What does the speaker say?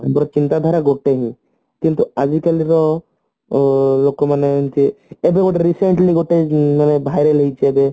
ତାଙ୍କର ଚିନ୍ତା ଧାରା ଗୋଟେ ହିଁ କିନ୍ତୁ ଆଜିକାଲିର ଉଁ ଲୋକମାନେ ଏମତି ଏଇଠି ଗୋଟେ recently hotel ଯୋଉ ବାହାରେ ନେଇଛି ଏବେ